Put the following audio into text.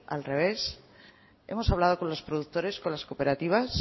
al revés hemos hablado con los productores con las cooperativas